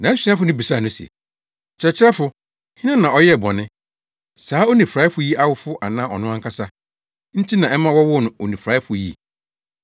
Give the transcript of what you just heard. Nʼasuafo no bisaa no se, “Kyerɛkyerɛfo, hena na ɔyɛɛ bɔne, saa onifuraefo yi awofo anaa ɔno ankasa, nti na ɛma wɔwoo no onifuraefo yi?”